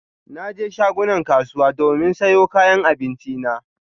Na je shagunan kasuwa domin sayo kayan abinci na.